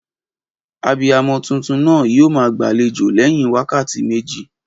Abiyamo tuntun naa yio maa gbàlejò léyin wákàtí méjì